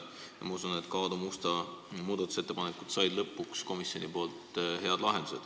Ma usun, et ka Aadu Musta muudatusettepanekud said lõpuks komisjonis hea lahenduse.